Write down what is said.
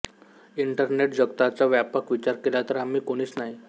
internet जगताचा व्यापक विचार केला तर आम्ही कोणीच नाही